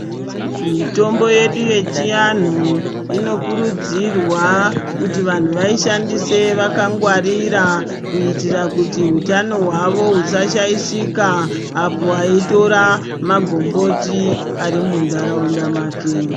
Mitombo yedu yechiahuu inokurudzirwa kuti vantu vaishandise vakangwarira kuitira kuti utano hwavo husashaishika apo aitora magomboti ari muntaraunda make.